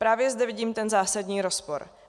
Právě zde vidím ten zásadní rozpor.